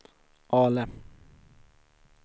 Ale